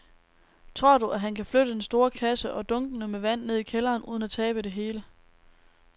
Tror du, at han kan flytte den store kasse og dunkene med vand ned i kælderen uden at tabe det hele?